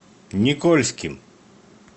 никольским